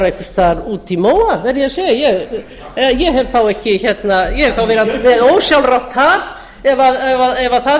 einhvers staðar úti í móa verð ég að segja ég hef þá verið með ósjálfrátt tal ef það